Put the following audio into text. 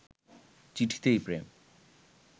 চিঠিতেই প্রেম